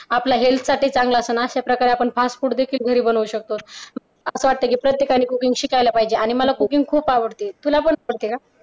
आपल्या हेल्थ साठी चांगलं असतं ना आणि अशा प्रकारे आपण fast food देखील घरी बनवू शकतो असं वाटतं की प्रत्येकाने cooking शिकायला पाहिजे आणि मला cooking खूप आवडते तुला पण आवडते का?